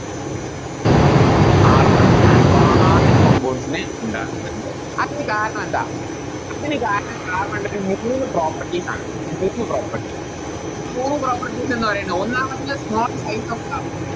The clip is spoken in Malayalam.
Carbon ഒരുപാട് Compounds നെ ഉണ്ടാക്കുന്നുണ്ട് അതിനു കാരണം എന്താ അതിനു കാരണം Carbon ൻറെ ഒര് മൂന്ന് Properties ആണ് മൂന്ന് Properties മൂന്ന് Properties എന്ന് പറയുന്നത് ഒന്നാമത്തത് Small size of carbon